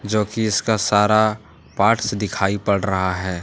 जोकि इसका सारा पार्ट्स दिखाई पड़ रहा है।